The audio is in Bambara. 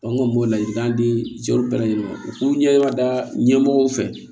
n kɔni m'o ladilikan di cɛw bɛɛ lajɛlen ma u k'u ɲɛ da ɲɛmɔgɔw fɛ